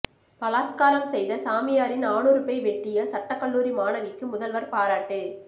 பலாத்காரம் செய்த சாமியாரின் ஆணுறுப்பை வெட்டிய சட்டக்கல்லூரி மாணவிக்கு முதல்வர் பாராட்டு